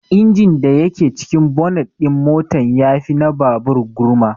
Injin da yake cikin bonet din motan ya fi na babur gurma